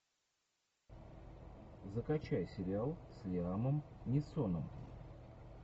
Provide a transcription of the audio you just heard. закачай сериал с лиамом нисоном